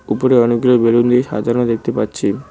উপরে অনেকগুলি বেলুন দিয়ে সাজানো দেখতে পাচ্ছি।